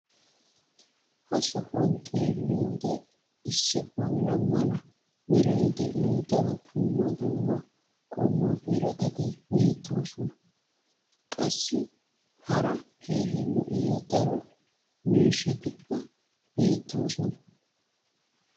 ha sohuwan xeelliyoode issi bulla mala meray de'iyo daro dumma dumma qommo birattati beetoosona. qassi hara keehi lo'iya daro miishshatikka beetoosona.